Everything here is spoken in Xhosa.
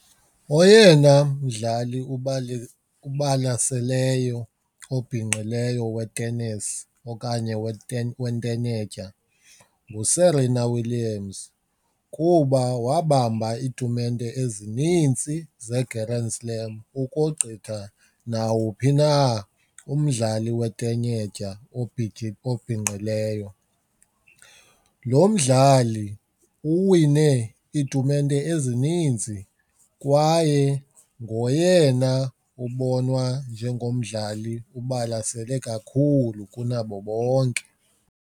Oyena mdlali ubalaseleyo obhinqileyo wetenesi okanye wentenetya nguSerena Wlliams kuba wabamba iitumente ezinintsi zeGrand Slam ukogqitha nawuphi na umdlali wetenetya obhinqileyo. Lo mdlali uwine iitumente ezininzi kwaye ngoyena ubonwa njengomdlali ubalasele kakhulu kunabo bonke.